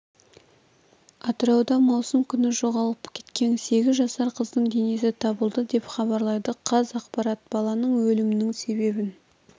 атырауда маусым күні жоғалып кеткен сегіз жасар қыздың денесі табылды деп хабарлайды қазақпарат баланың өлімінің себебін